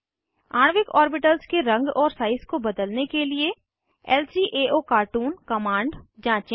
आणविक ऑर्बिटल्स के रंग और साइज को बदलने के लिए ल्काओकार्टून कमांड जाँचें